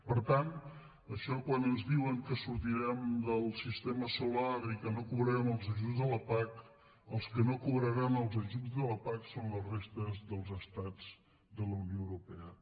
per tant això quan ens diuen que sortirem del sistema solar i que no cobrarem els ajuts de la pac els que no cobraran els ajuts de la pac són la resta dels estats de la unió europea